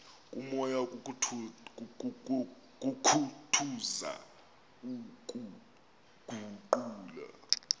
komoya kukhuthaza ukuguqula